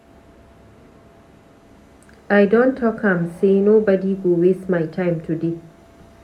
I don talk am sey nobodi go waste my time today.